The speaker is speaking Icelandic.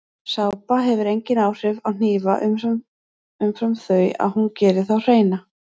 Sápa hefur engin áhrif á hnífa umfram þau að hún gerir þá hreina.